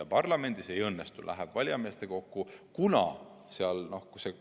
Kui parlamendil see ei õnnestu, läheb ülesanne valijameeste kogule.